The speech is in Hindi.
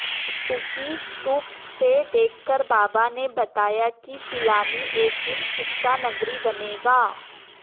उसी स्तूप से देखकर बाबा ने बताया कि पिलानी एक दिन शिक्षा नगरी बनेगा